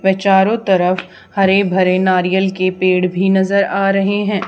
वे चारों तरफ हरे भरे नारियल के पेड़ भी नजर आ रहे हैं।